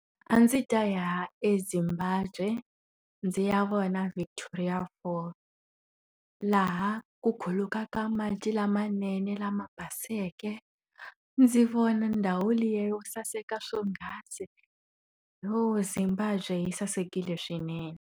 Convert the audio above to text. A ndzi ta ya eZimbabwe, ndzi ya vona Victoria Fall. Laha ku khulukaka mati lamanene lama baseke, ndzi vona ndhawu liya yo saseka swonghasi. Yo Zimbabwe yi sasekile swinene.